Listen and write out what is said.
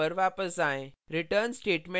अब अपने program पर वापस आएँ